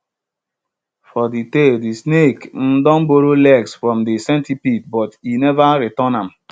for de tale de snake um don borrow legs from de centipede but e never return am